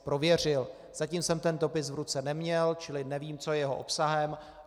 Zatím jsem ten dopis v ruce neměl, čili nevím, co je jeho obsahem.